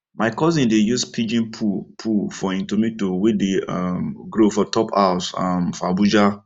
my cousin dey use pigeon poo poo for him tomato wey dey um grow for top house um for abuja